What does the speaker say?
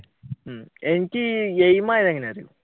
ഹും എനിക്ക്